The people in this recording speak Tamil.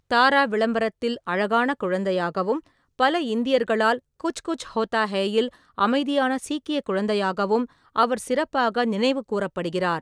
தாரா விளம்பரத்தில் அழகான குழந்தையாகவும், பல இந்தியர்களால் குச் குச் ஹோத்தா ஹேயில் அமைதியான சீக்கிய குழந்தையாகவும் அவர் சிறப்பாக நினைவு கூறப்படுகிறார்.